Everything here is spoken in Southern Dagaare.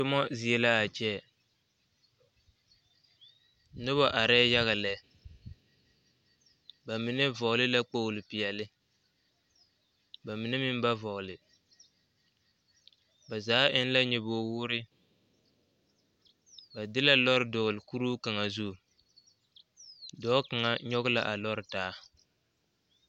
Tomɔ zie laa kyɛ nobɔ arɛɛ yaga lɛ ba mine vɔgle la kpogle peɛle ba mine meŋ ba vɔgle ba zaa eŋ la nyobogwoore ba de la lɔre dɔɔle kuruu kaŋa zu dɔɔ kaŋa nyoge la a lɔre taa.